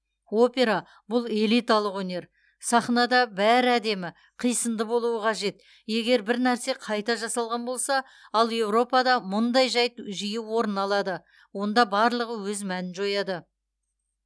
опера бұл элиталық өнер сахнада бәрі әдемі қисынды болуы қажет егер бір нәрсе қайта жасалған болса ал еуропада мұндай жайт жиі орын алады онда барлығы өз мәнін жояды